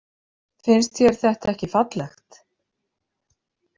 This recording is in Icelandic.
Finnst þér þetta ekki fallegt?